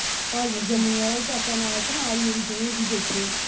ਤੇ ਜੰਮੂ ਵਾਲਾ ਵੀ ਚਾਚਾ ਨਾਲ ਤੇ ਨਾਲ ਵੀ ਉਵੀ ਦੋਵੇ ਜੀਅ ਬੈਠੇ